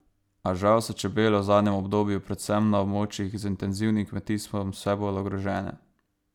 A žal so čebele v zadnjem obdobju, predvsem na območjih z intenzivnim kmetijstvom, vse bolj ogrožene.